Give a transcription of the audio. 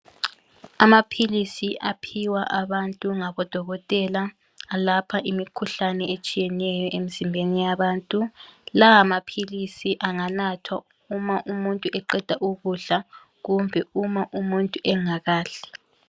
Amaphilisi aphiwa abantu ngabodokotela alapha imikhuhlane etshiyeneyo emzimbeni yabantu. Lawa maphilisi anganathwa uma umuntu eqeda ukudla kumbe uma umuntu engakadli.